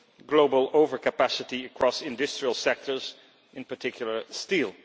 global overcapacity across industrial sectors, in particular steel.